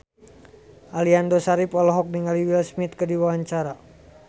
Aliando Syarif olohok ningali Will Smith keur diwawancara